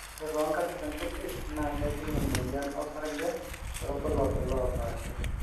kore too nkatin kutik naa kejing emoyian o sarge torbulabul oopaasha